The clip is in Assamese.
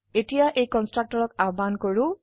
এতিয়াএই কন্সট্ৰকটৰক আহ্বান কৰো